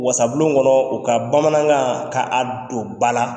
Wasabulon kɔnɔ u ka bamanankan ka a don ba la